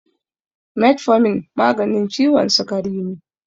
Metformin maganin ciwon sikari ne